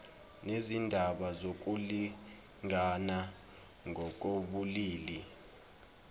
nezindaba zokulingana ngokobulili